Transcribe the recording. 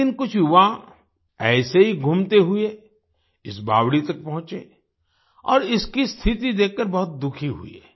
एक दिन कुछ युवा ऐसे ही घूमते हुए इस बावड़ी तक पहुंचे और इसकी स्थिति देखकर बहुत दुखी हुए